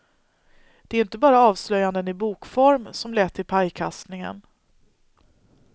Det är inte bara avslöjanden i bokform som lett till pajkastningen.